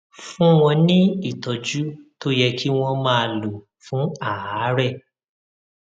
fún wọn ní ìtọjú tó yẹ kí wọn máa lò fún àárẹ